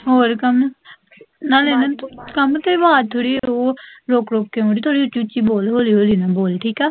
ਹੋਰ ਕਾਮਾ, ਨਾਲੇ ਨਾ ਤੇਰੀ ਆਵਾਜ਼ ਥੋੜੀ ਉਹ, ਥੋੜੀ ਰੁਕ ਰੁਕ ਕੇ ਆਉਣ ਡੇਈ, ਥੋੜੀ ਉੱਚੀ ਉੱਚੀ ਬੋਲੋ, ਹੋਲੀ ਹੋਲੀ ਨਾ ਬੋਲ, ਠੀਕ ਆ?